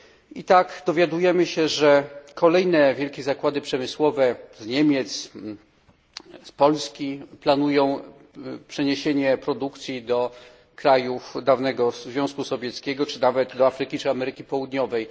I tak dowiadujemy się, że kolejne wielkie zakłady przemysłowe z Niemiec, z Polski planują przeniesienie produkcji do krajów dawnego Związku Radzieckiego, czy nawet do Afryki, czy Ameryki Południowej.